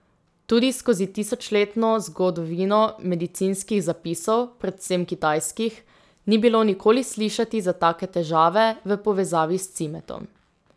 Tudi skozi tisočletno zgodovino medicinskih zapisov, predvsem kitajskih, ni bilo nikoli slišati za take težave v povezavi s cimetom.